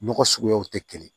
Nɔgɔ suguyaw tɛ kelen ye